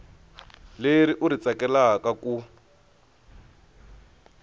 leri u ri tsakelaka ku